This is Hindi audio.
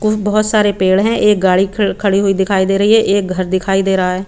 खूब बहोत सारे पेड़ है एक गाड़ी खड़ी हुई दिखाई दे रही है एक घर दिखाई दे रहा है।